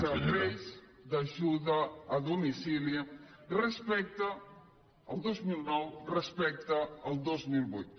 serveis d’ajuda a domicili el dos mil nou respecte al dos mil vuit